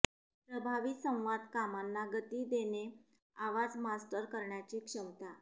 प्रभावी संवाद कामांना गती देणे आवाज मास्टर करण्याची क्षमता